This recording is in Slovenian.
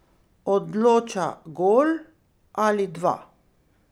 Odloča gol ali dva.